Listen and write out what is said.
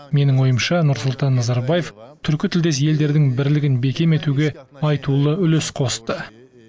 менің ойымша нұрсұлтан назарбаев түркі тілдес елдердің бірлігін бекем етуге айтулы үлес қосты